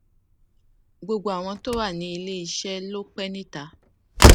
gbogbo àwọn tó wà ní ilé iṣé ló pé níta